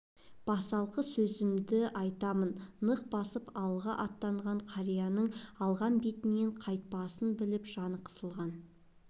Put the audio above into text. басалқы сөзімді айтамын нық басып алға аттаған қарияның алған бетінен қайтпасын біліп жаны қысылған